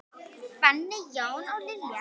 Fanney, Jón og Lilja.